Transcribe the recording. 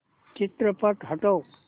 चित्रपट हटव